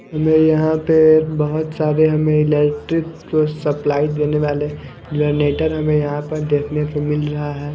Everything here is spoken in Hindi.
हमें यहाँ पे बहुत सारे हमें इलेक्ट्रिक सप्लाई देने वाले जनरेटर हमें यहाँ पर देखने को मिल रहा है।